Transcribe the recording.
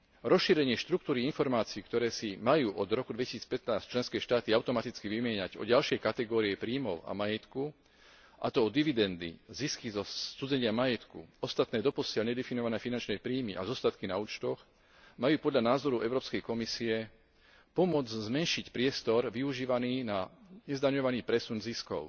Rozšírenie štruktúry informácií, ktoré si majú od roku 2015 členské štáty automaticky vymieňať, o ďalšie kategórie príjmov a majetku, a to o dividendy, zisky zo scudzenia majetku, ostatné, doposiaľ nedefinované finančné príjmy a zostatky na účtoch, majú podľa názoru Európskej komisie pomôcť zmenšiť priestor využívaný na nezdaňovaný presun ziskov.